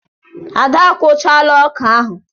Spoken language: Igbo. Ada a kụchaala ọkà ahụ.